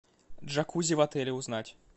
джакузи в отеле узнать